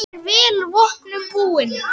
Hún er vel vopnum búin.